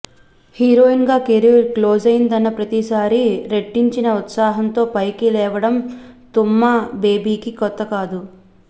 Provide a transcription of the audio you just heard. హీరోయిన్గా కెరీర్ క్లోజైందన్న ప్రతిసారీ రెట్టించిన ఉత్సాహంతో పైకి లేవడం తమ్మూ బేబీకి కొత్తకాదు